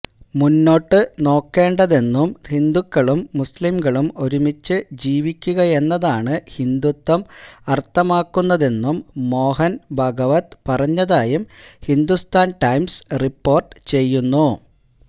മുന്നോട്ട് നോക്കേണ്ടതെന്നും ഹിന്ദുക്കളും മുസ്ലിംകളും ഒരുമിച്ച് ജീവിക്കുകയെന്നതാണ് ഹിന്ദുത്വം അര്ത്ഥമാക്കുന്നതെന്നും മോഹന് ഭാഗവത് പറഞ്ഞതായും ഹിന്ദുസ്ഥാന് ടൈംസ് റിപോര്ട്ട് ചെയ്യുന്നു